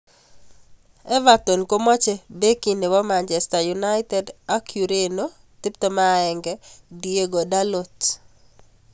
[Telegraph-subscription only] Everton komoche Beki nebo Manchester United ak Ureno 21 Diogo Dalot.